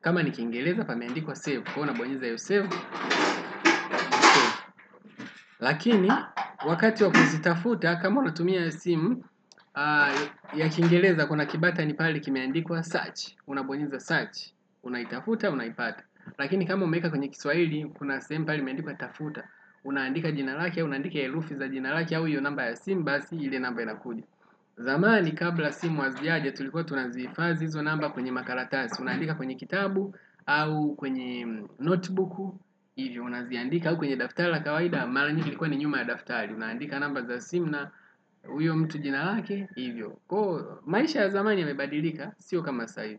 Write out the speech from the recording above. kama ni kiingereza pameandikwa save, kuwa unabonyeza hiyo save lakini wakati wa kuzitafuta kama unatumia simu ya kiingereza kuna kibutton pale kimeandikwa search. Unabonyeza search, unaitafuta, unaipata lakini kama umeweka kwenye kiswahili, kuna sehemu pale, imeandikwa tafuta. Unaandika jina lake, unaandika herufi za jina lake au hiyo namba ya simu, basi ili namba inakuja zamani kabla simu hazijaja tulikuwa tunazihifadhi hizo namba kwenye makaratasi. Unaandika kwenye kitabu au kwenye notebooku, hivyo unaziandika au kwenye daftari la kawaida, mara nyingi ilikuwa ni nyuma ya daftari. Unaandika namba za simu na huyo mtu jina lake, hivyo kuwa maisha ya zamani yamebadilika, sio kama sahii.